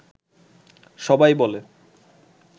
সবাই বলে